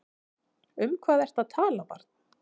Um hvað ertu að tala barn?